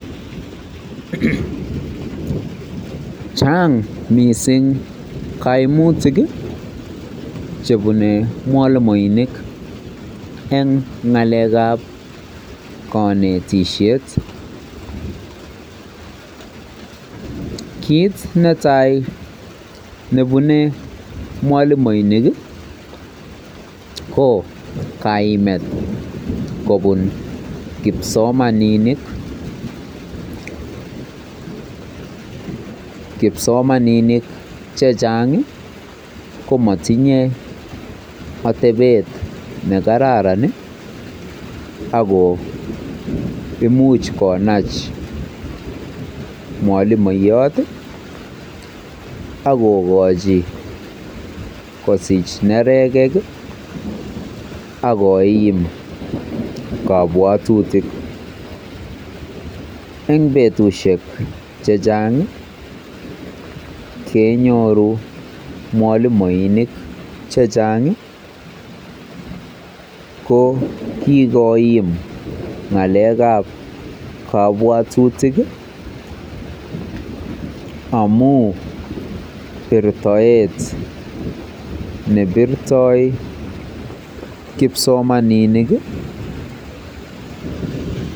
Chang mising kaimutik chebune mwalimoinik eng ng'alekab kanetisiet. Kiit netai nebune mwalimoinik ko kaimet kobun kipsomaninik. Kipsomaninik chechang ko matinye atebet nekararan ako imuch konach mwolimoiyot akokochi kosich nerekek akoim kabwatutik. Eng betusiek chechang kenyoru mwalimoinik chechang ko kikoim ng'alekab kabwatutik amu birtoet nebirto kipsomaninik